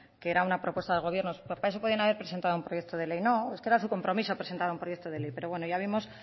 que era una propuesta de gobierno para eso podían haber presentado un proyecto de ley no es que era su compromiso presentar un proyecto de ley pero bueno ya vemos